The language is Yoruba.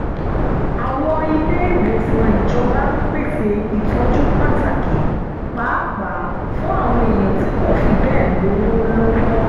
àwọn ilé-ìwòsàn ìjọba ń pèsè ìtọ́jú pàtàkì pàápàá fún àwọn èèyàn tí kò fi bẹ́ẹ̀ lówó lọ́wọ́